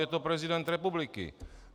Je to prezident republiky.